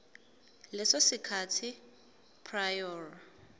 leso sikhathi prior